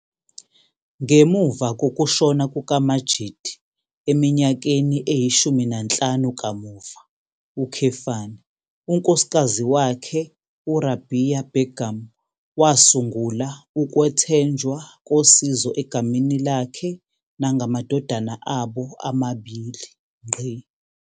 Ngemuva kokushona kukaMajeed eminyakeni eyi-15 kamuva, unkosikazi wakhe uRabea Begum wasungula ukwethenjwa kosizo egameni lakhe nangamadodana abo amabili.